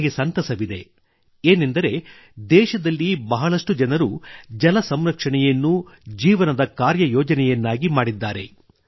ನನಗೆ ಸಂತಸವಿದೆ ಏನೆಂದರೆ ದೇಶದಲ್ಲಿ ಬಹಳಷ್ಟು ಜನರು ಜಲ ಸಂರಕ್ಷಣೆಯನ್ನು ಜೀವನದ ಕಾರ್ಯಯೋಜನೆಯನ್ನಾಗಿ ಮಾಡಿದ್ದಾರೆ